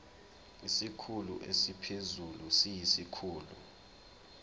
isikhulu esiphezulu siyisikhulu